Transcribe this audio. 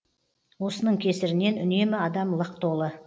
осының кесірінен үнемі адам лық толы